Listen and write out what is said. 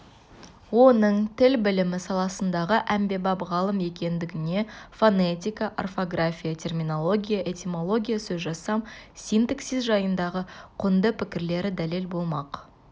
оның тіл білімі саласындағы әмбебап ғалым екендігіне фонетика орфография терминология этимология сөзжасам синтаксис жайындағы құнды пікірлері дәлел болмақ